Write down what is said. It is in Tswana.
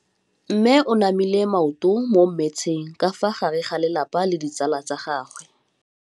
Mme o namile maoto mo mmetseng ka fa gare ga lelapa le ditsala tsa gagwe.